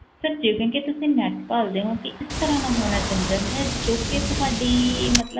Sir ਜਿਵੇਂ ਕਿ ਤੁਸੀਂ net ਭਾਲਦੇ ਹੋ ਕਿ ਇਸ ਤਰ੍ਹਾਂ ਦਾ ਹੋਣਾ ਚਾਹੀਦਾ ਹੈ, ਜੋ ਕਿ ਤੁਹਾਡੀ ਮਤਲਬ